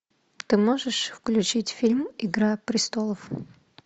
ты можешь включить фильм игра престолов